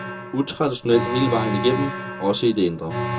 Utraditionelt hele vejen igennem, også i det indre.